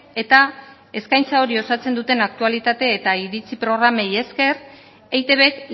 eta eskaintza hori osatzen duten aktualitate eta iritzi programei esker eitbk